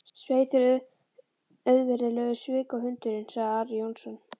Svei þér auðvirðilegur svikahundurinn, sagði Ari Jónsson.